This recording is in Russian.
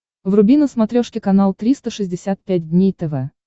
вруби на смотрешке канал триста шестьдесят пять дней тв